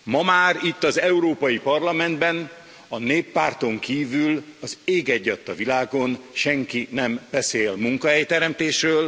Ma már itt az Európai Parlamentben a Néppárton kívül az ég egy adta világon senki sem beszél munkahelyteremtésről.